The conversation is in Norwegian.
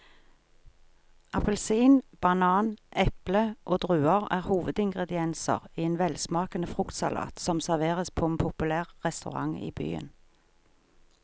Appelsin, banan, eple og druer er hovedingredienser i en velsmakende fruktsalat som serveres på en populær restaurant i byen.